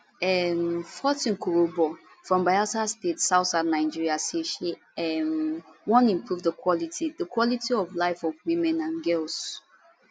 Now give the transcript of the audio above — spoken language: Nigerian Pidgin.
um fortune kurobo from bayelsa state southsouth nigeria say she um wan improve di quality di quality of life of women and girls